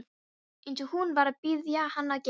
Eins og hún var að biðja hann að gera.